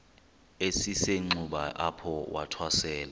esisenxuba apho wathwasela